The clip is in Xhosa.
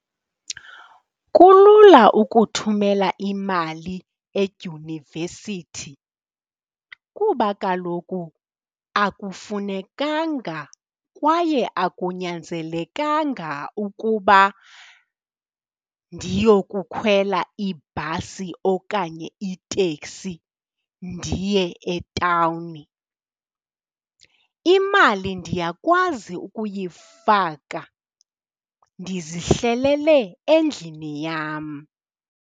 Kulula ukuthumela imali edyunivesithi kuba kaloku akufunekanga kwaye akunyanzelekanga ukuba ndiyokukhwela ibhasi okanye iteksi ndiye etawuni. Imali ndiyakwazi ukuyifaka ndizihlelele endlini yam.